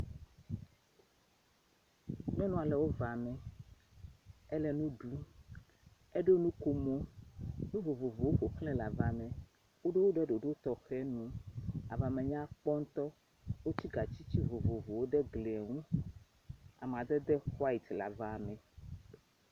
Nyɔnua ɖewo ŋãa nu, ele nu ɖum, eɖo nukomo. Nu vovovowo ƒoxlae le aba me. Wo do wo ɖe ɖoɖo tɔxɛ nu. Aba me nya kpɔ ŋutɔ. Wots] gatsi ti vovovowo ɖe gli ŋu. amadede white le aba me.